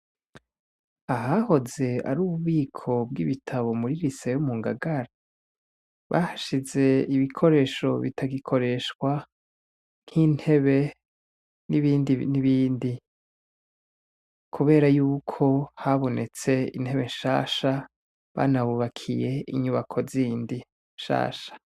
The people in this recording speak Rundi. Ahahoze ari ububiko bw'ibitabo muri rise yo mu ngagara bahashize ibikoresho bitagikoreshwa nk'intebe n'ibindi n'ibindi, kubera yuko habonetse intebe nshasha banabubakiye inyubako zindi shasha.